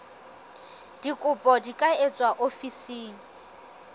dikopo di ka etswa ofising